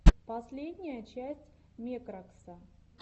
последняя часть мекракса